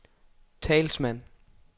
talsmand